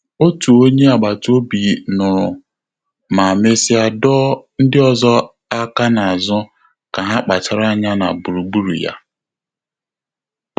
Ọ́tù ọ́nyé àgbàtà òbí nụ́rụ̀ mà mèsị́à dọ́ọ́ ndị́ ọ́zọ́ áká n’ázụ́ kà há kpàchàrà ányá nà gbùrùgbúrù yá.